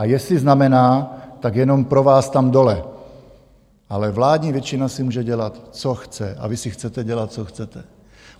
A jestli znamená, tak jenom pro vás tam dole, ale vládní většina si může dělat, co chce, a vy si chcete dělat, co chcete.